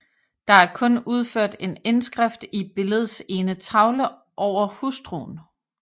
Der er kun udført en indskrift i billedets ene tavle over hustruen